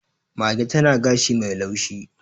Mage tana gashi mai laushi.